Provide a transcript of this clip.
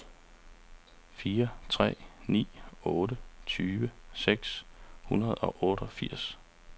fire tre ni otte tyve seks hundrede og otteogfirs